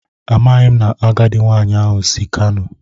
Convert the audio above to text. Amaghim na agadi nwanyi ahu si kano